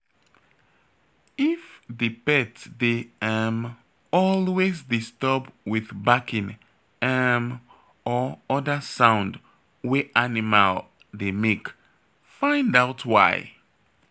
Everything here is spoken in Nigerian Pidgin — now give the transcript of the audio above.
If di pet dey um always disturb with barking um or oda sound wey animal dey make, find out why